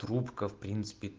трубка впринципе